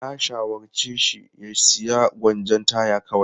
Na shawarce shi ya sayi gwanjon taya kawai.